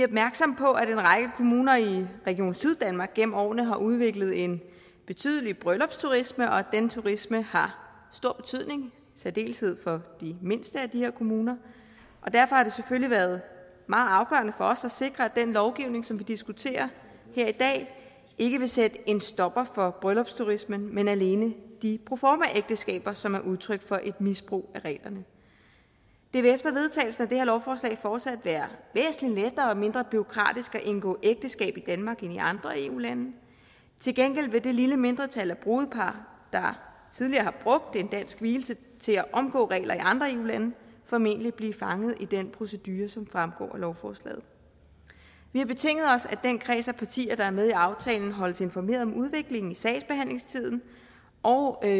opmærksomme på at en række kommuner i region syddanmark gennem årene har udviklet en betydelig bryllupsturisme og at denne turisme har stor betydning i særdeleshed for de mindste af de her kommuner og derfor har det selvfølgelig været meget afgørende for os at sikre at den lovgivning som vi diskuterer her i dag ikke vil sætte en stopper for bryllupsturismen men alene de proformaægteskaber som er udtryk for et misbrug af reglerne det vil efter vedtagelsen af det her lovforslag fortsat være væsentlig lettere og mindre bureaukratisk at indgå ægteskab i danmark end i andre eu lande til gengæld vil det lille mindretal af brudepar der tidligere har brugt en dansk vielse til at omgå regler i andre eu lande formentlig blive fanget i den procedure som fremgår af lovforslaget vi har betinget os at den kreds af partier der er med i aftalen holdes informeret om udviklingen i sagsbehandlingstiden og at